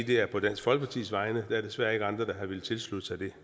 det er på dansk folkepartis vegne der er desværre ikke andre der har villet tilslutte sig det